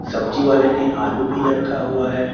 सब्जी वाले ने आलू भी रखा हुआ है।